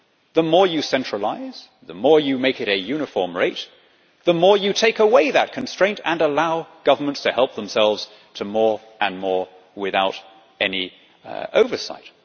The more you centralise, the more you make it a uniform rate, the more you take away that constraint and allow governments to help themselves to more and more without any oversight.